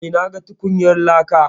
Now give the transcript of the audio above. Eh, na ga tukunyar laka.